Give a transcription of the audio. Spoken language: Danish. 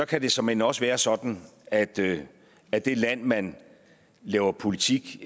kan det såmænd også være sådan at det at det land man laver politik